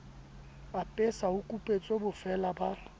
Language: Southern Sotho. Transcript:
apesa ho kupetswe bofeela ba